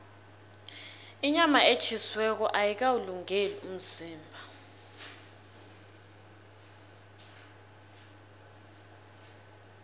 inyama etjhisiweko ayikalungeli umzimba